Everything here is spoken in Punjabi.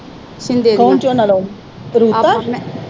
ਕੌਣ ਝੋਨਾ ਲਾਉਣ। ਰੂਪਾ।